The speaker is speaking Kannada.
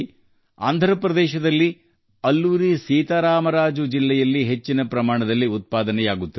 ಆಂಧ್ರ ಪ್ರದೇಶದ ಅಲ್ಲೂರಿ ಸೀತಾ ರಾಮರಾಜು ಜಿಲ್ಲೆಯಲ್ಲಿ ಅರಕು ಕಾಫಿಯನ್ನು ಹೆಚ್ಚಿನ ಪ್ರಮಾಣದಲ್ಲಿ ಉತ್ಪಾದಿಸಲಾಗುತ್ತದೆ